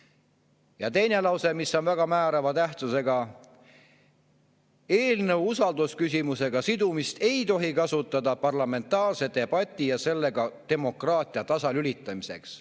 " Ja teine lause, mis on väga määrava tähtsusega: "Eelnõu usaldusküsimusega sidumist ei tohi kasutada parlamentaarse debati ja sellega ka demokraatia tasalülitamiseks.